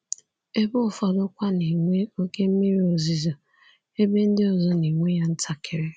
Ebe ụfọdụkwa na-enwe oke mmiri ozuzo, ebe ndị ọzọ na-enwe ya ntakịrị.